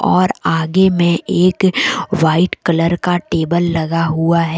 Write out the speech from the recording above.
और आगे में एक व्हाइट कलर का टेबल लगा हुआ हैं।